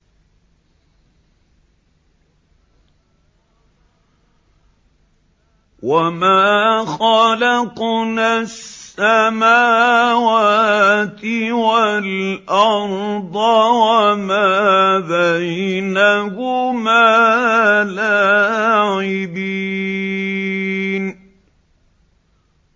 وَمَا خَلَقْنَا السَّمَاوَاتِ وَالْأَرْضَ وَمَا بَيْنَهُمَا لَاعِبِينَ